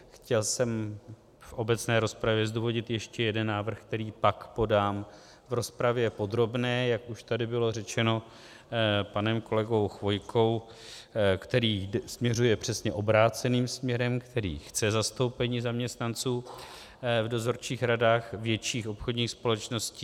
Chtěl jsem v obecné rozpravě zdůvodnit ještě jeden návrh, který pak podám v rozpravě podrobné, jak už tady bylo řečeno panem kolegou Chvojkou, který směřuje přesně obráceným směrem, který chce zastoupení zaměstnanců v dozorčích radách větších obchodních společností.